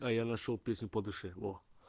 а я нашёл песню по душе вот